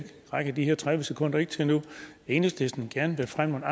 rækker de her tredive sekunder ikke til nu at enhedslisten gerne vil fremme